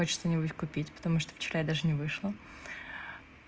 хочет что-нибудь купить потому что вчера я даже не вышла